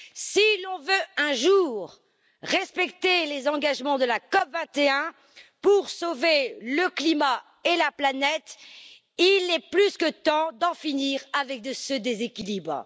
Si l'on veut, un jour, respecter les engagements de la COP21 pour sauver le climat et la planète, il est plus que temps d'en finir avec ce déséquilibre.